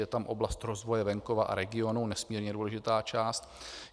Je tam oblast rozvoje venkova a regionů, nesmírně důležitá část.